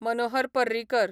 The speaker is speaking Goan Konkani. मनोहर पर्रीकर